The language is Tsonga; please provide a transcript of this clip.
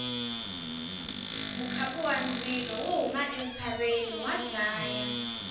mukhapu wa ndzilo wo huma entshaveni wa dlaya